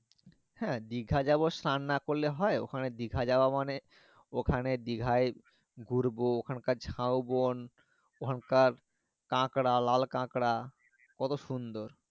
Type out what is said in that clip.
হ্যাঁ দীঘা যাবো স্নান না করলে হয় দীঘা মানে ওখানে দিঘাই ঘুরবো ওখান কার ঝাও বন ওখান কার কাঁকড়া লালা কাঁকড়া কত সুন্দর